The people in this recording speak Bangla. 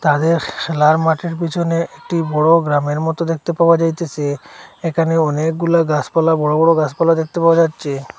তাদের খেলার মাঠের পেছনে একটি বড়ো গ্রামের মতো দেখতে পাওয়া যাইতেসে এখানে অনেকগুলা গাসপালা বড়ো বড়ো গাসপালা দেখতে পাওয়া যাচ্ছে।